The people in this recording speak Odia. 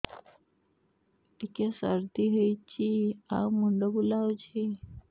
ଟିକିଏ ସର୍ଦ୍ଦି ହେଇଚି ଆଉ ମୁଣ୍ଡ ବୁଲାଉଛି